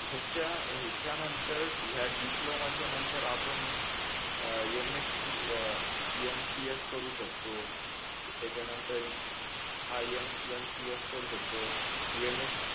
याच्या याच्यानंतर या डिप्लोमाच्या नंतर आपण अह MSC अह MCS करू शकतो त्याच्यानंतर हा MCS करू शकतो MS